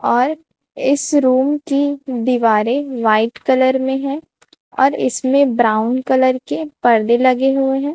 और इस रूम की दीवारें व्हाइट कलर में हैं और इसमें ब्राउन कलर के पर्दे लगे हुए हैं।